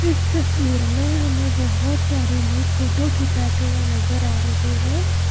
इस तस्वीर में हमें बहुत सारे लोग फोटो खिंचाते हुए नजर आ रहे हैं।